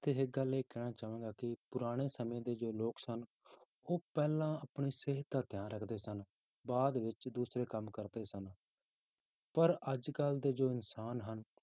ਇੱਥੇ ਇੱਕ ਗੱਲ ਇਹ ਕਹਿਣਾ ਚਾਹਾਂਗਾ ਕਿ ਪੁਰਾਣੇ ਸਮੇਂ ਦੇ ਜੋ ਲੋਕ ਸਨ, ਉਹ ਪਹਿਲਾਂ ਆਪਣੀ ਸਿਹਤ ਦਾ ਧਿਆਨ ਰੱਖਦੇ ਸਨ, ਬਾਅਦ ਵਿੱਚ ਦੂਸਰੇ ਕੰਮ ਕਰਦੇ ਸਨ ਪਰ ਅੱਜ ਕੱਲ੍ਹ ਦੇ ਜੋ ਇਨਸਾਨ ਹਨ